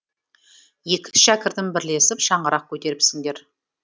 екі шәкіртім бірлесіп шаңырақ көтеріпсіңдер